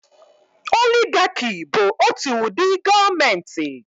Oligaki bụ otu ụdị gọọmenti